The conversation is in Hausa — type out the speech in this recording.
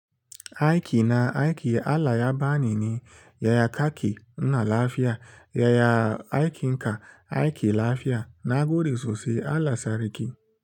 Aiki na aiki Allah ya bani ne, ya kaki nuna lafiya, yaya aikin ka aiki lafiya. Nagode sossai. Allah sarki.